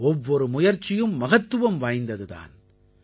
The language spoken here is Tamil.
ஒவ்வொரு முயற்சியும் மகத்துவம் வாய்ந்தது தான்